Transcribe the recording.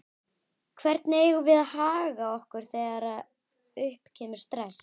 Hvernig eigum við að haga okkur þegar upp kemur stress?